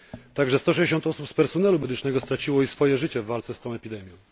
Także 160 osób z personelu medycznego straciło życie w walce z tą epidemią.